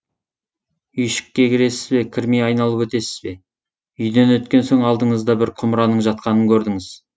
үйшікке кіресіз бе кірмей айналып өтесіз бе үйден өткен соң алдыңызда бір құмыраның жатқанын көрдіңіз